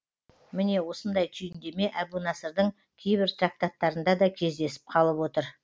міне осындай түйіндеме әбу насырдың кейбір трактаттарында да кездесіп қалып отыр